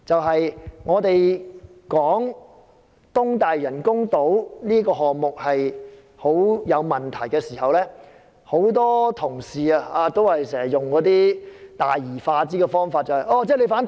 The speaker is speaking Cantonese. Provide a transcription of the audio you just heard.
當我們指出東大嶼人工島這個項目極有問題時，很多同事都用大而化之的方法，指責我們反對填海。